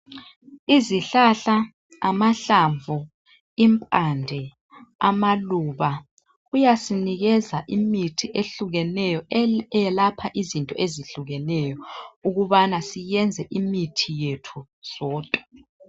Izihlahla amahlamvu impande amaluba kuyasinikeza imithi ehlukeneyo eyelapha izinto ezihlukeneyo ukubana siyenze imithi yethu sodwa